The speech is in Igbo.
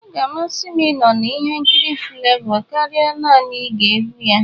Ọ ga-amasị m ịnọ na ihe nkiri Flavour karịa naanị ige egwu ya.